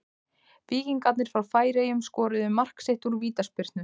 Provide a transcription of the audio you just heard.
Víkingarnir frá Færeyjum skoruðu mark sitt úr vítaspyrnu.